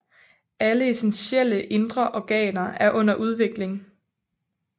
Alle essentielle indre organer er under udvikling